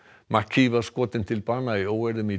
mcKee var skotin til bana í óeirðum í